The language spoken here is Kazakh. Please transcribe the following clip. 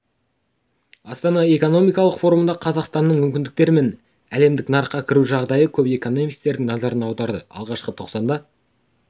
астана экономикалық форумында қазақстанның мүмкіндіктері мен әлемдік нарыққа кірігу жағдайы көп экономистердің назарын аударды алғашқы тоқсанда